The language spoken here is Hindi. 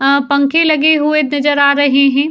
यहाँ पंखे लगे हुए तजर आ रहे हैं।